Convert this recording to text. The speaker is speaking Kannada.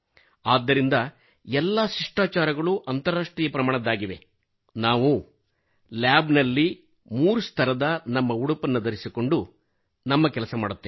ಆದ್ದರಿಂದಎಲ್ಲಾ ಶಿಷ್ಟಾಚಾರಗಳು ಅಂತರರಾಷ್ಟ್ರೀಯ ಪ್ರಮಾಣದ್ದಾಗಿವೆ ನಾವು ಲ್ಯಾಬ್ ನಲ್ಲಿ ಮೂರುಸ್ತರದ ನಮ್ಮ ಉಡುಪನ್ನು ಧರಿಸಿಕೊಂಡು ನಮ್ಮ ಕೆಲಸ ಮಾಡುತ್ತೇವೆ